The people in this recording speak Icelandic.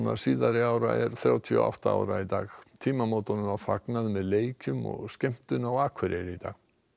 síðari ára er þrjátíu og átta ára í dag tímamótunum var fagnað með leikjum og skemmtun á Akureyri í dag